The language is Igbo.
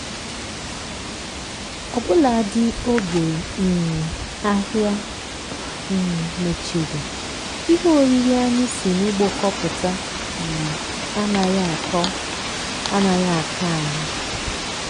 ọbụladị oge um ahịa um mechiri ihe oriri anyị si n'ugbo kpọpụta um anaghị akọ anaghị akọ anyị.